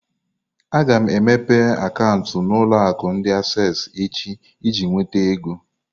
Aga m emepe akaụntụ na ulo akụ ndi Asessi echi iji nweta ego.